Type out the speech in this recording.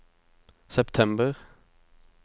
september